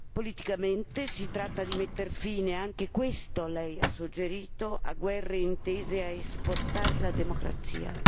Politicamente si tratta di mettere fine anche questo lei ha suggerito a guerre intese a esportare la democrazia.